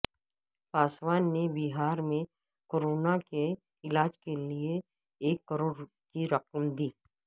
پاسوان نے بہار میں کورونا کے علاج کیلئے ایک کروڑ کی رقم دی